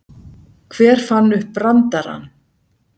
Hver fann upp brandarann?